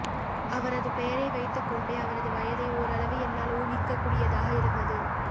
அவரது பெயரை வைத்துக் கொண்டே அவரது வயதை ஓரளவு என்னால் ஊகிக்கக் கூடியதாக இருந்தது